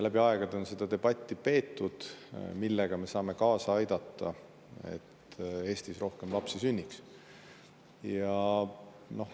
Läbi aegade on peetud seda debatti, millega me saame kaasa aidata, et Eestis rohkem lapsi sünniks.